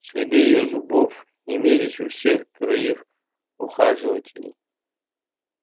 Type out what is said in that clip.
следы её зубов имелись у всех троих ухаживателей